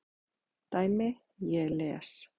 dæmi: Ég les.